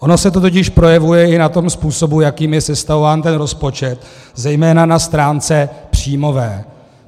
Ono se to totiž projevuje i na tom způsobu, jakým je sestavován ten rozpočet, zejména na stránce příjmové.